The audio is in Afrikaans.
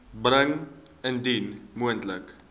bring indien moontlik